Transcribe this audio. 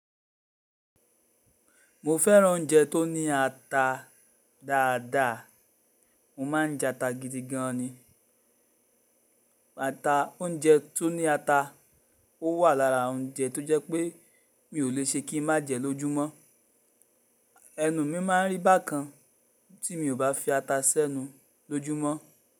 Mo fẹ́ràn oúnjẹ tó ní ata dáadáa. Mo má n jata gidi gan ni. Ata, oúnjẹ tó ní ata, ó wà lára oúnjẹ tó jẹ́ pé mi ò le ṣe kí n má jẹ lọ́júmọ́. Ẹnu mi má n rí bákan tí mi ò bá fi ata sẹ́nu lójúmọ́.